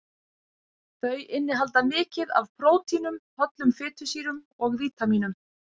Þau innihalda mikið af prótínum, hollum fitusýrum og vítamínum.